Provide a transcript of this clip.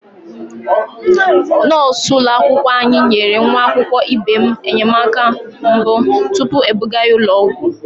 Nọọsụ ụlọakwụkwọ anyị nyere nwa akwụkwọ ibe m enyemaka mbụ tupu ebuga ya ụlọ ọgwụ.